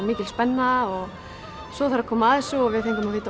mikil spenna og svo þegar kom að þessu og við fengum að vita